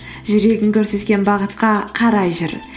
жүрегің көрсеткен бағытқа қарай жүр